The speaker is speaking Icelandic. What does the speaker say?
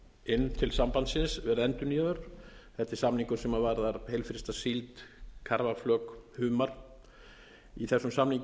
inn til sambandsins verið endurnýjaður þetta ári samningum sem varðar heilfrysta síld karfaflök humar í þessum samningi